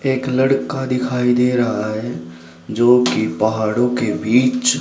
एक लड़का दिखाई दे रहा है जोकि पहाड़ो के बीच--